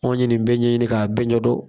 Ɔnw ɲe nin bɛ ɲɛɲini k'a bɛɛ ɲɛdon